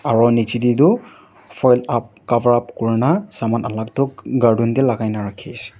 aru nicche teh toh phone up cover up kuri na saman alag toh garden teh lagai na rakhai ase.